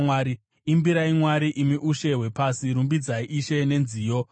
Imbirai Mwari, imi ushe hwepasi, rumbidzai Ishe nenziyo, Sera